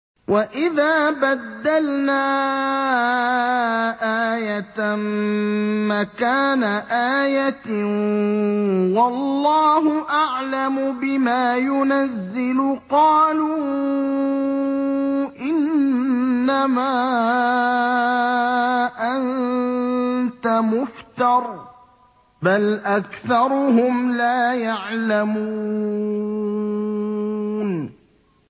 وَإِذَا بَدَّلْنَا آيَةً مَّكَانَ آيَةٍ ۙ وَاللَّهُ أَعْلَمُ بِمَا يُنَزِّلُ قَالُوا إِنَّمَا أَنتَ مُفْتَرٍ ۚ بَلْ أَكْثَرُهُمْ لَا يَعْلَمُونَ